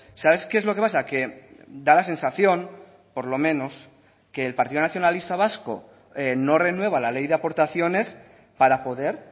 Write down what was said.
sabes qué es lo que pasa que da la sensación por lo menos que el partido nacionalista vasco no renueva la ley de aportaciones para poder